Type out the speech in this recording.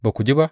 Ba ku ji ba?